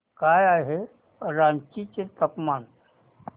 काय आहे रांची चे तापमान